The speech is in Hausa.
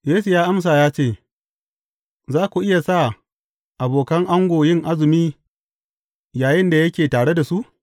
Yesu ya amsa ya ce, Za ku iya sa abokan ango yin azumi yayinda yake tare da su?